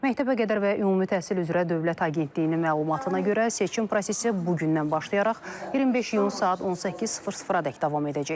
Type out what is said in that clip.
Məktəbəqədər və Ümumi Təhsil üzrə Dövlət Agentliyinin məlumatına görə, seçim prosesi bugündən başlayaraq 25 iyun saat 18:00-ədək davam edəcək.